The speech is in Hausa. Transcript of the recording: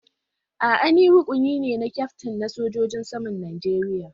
A'a, ni rukuni ne na kyaftin na sojojin saman Najeriya.